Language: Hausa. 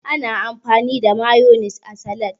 Ana amfani da mayonis a salad.